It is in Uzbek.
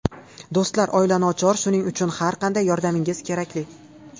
Do‘stlar, oila nochor, shuning uchun har qanday yordamingiz kerakli.